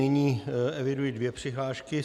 Nyní eviduji dvě přihlášky.